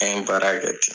An ye baara kɛ ten